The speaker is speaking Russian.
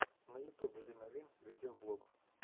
на ютубе лина вин видеоблог